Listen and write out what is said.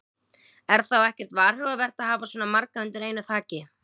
Er þá ekkert varhugavert að hafa svona marga undir einu þaki?